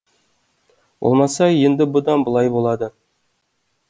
болмаса енді бұдан былай болады